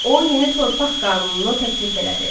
O yeni torpaq qanununu təklif elədi.